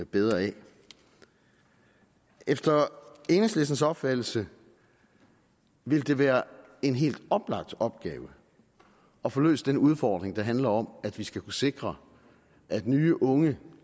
bedre af efter enhedslistens opfattelse ville det være en helt oplagt opgave at få løst den udfordring der handler om at vi skal sikre at nye unge